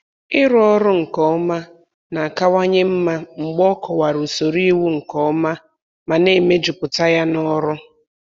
Ịrụ ọrụ nke ọma na-akawanye mma mgbe a kọwara usoro iwu nke ọma ma na-emejuputa ya n'ọrụ.